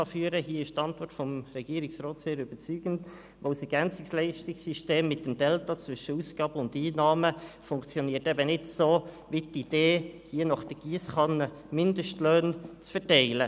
Hier ist die Antwort des Regierungsrats sehr überzeugend, weil das EL-System mit dem Delta zwischen Ausgaben und Einnahmen eben nicht so funktioniert wie die Idee, hier mit der Giesskanne Mindestlöhne zu verteilen.